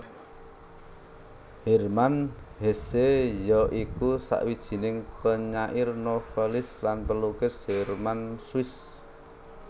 Hermann Hesse ya iku sawijining penyair novelis lan pelukis Jerman Swiss